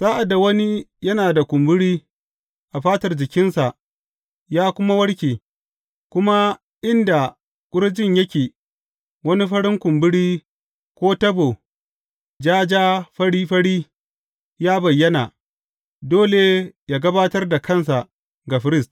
Sa’ad da wani yana da kumburi a fatar jikinsa ya kuma warke, kuma a inda ƙurjin yake, wani farin kumburi ko tabo ja ja, fari fari ya bayyana, dole yă gabatar da kansa ga firist.